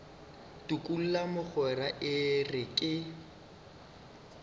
tukula mogwera e re ke